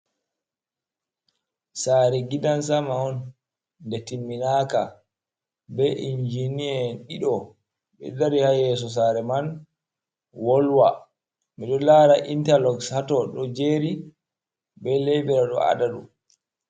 Sare gidansama on de timminaka be injiniyeen dido be dari hayeso sare man wolwa ,mido lara interloxs hato do jeri be laibira do adadum.